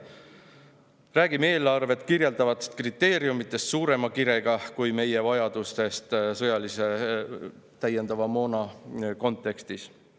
Me räägime eelarvet kirjeldavatest kriteeriumidest suurema kirega kui meie vajadustest täiendava sõjamoona kontekstis.